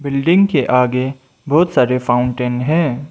Building के आगे बहोत सारे फाउंटेन हैं।